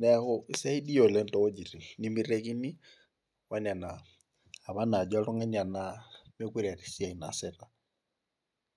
neeku isaidia oleng too wuejitin nemeitekini onena apa naajo oltungani anaa meekure eeta esiai naasita.